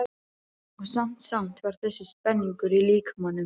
Og samt samt var þessi spenningur í líkamanum.